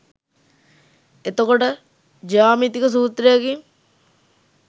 එතකොට ජ්‍යාමිතික සූත්‍රයකින්